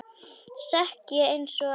Sekk ég einsog ekkert.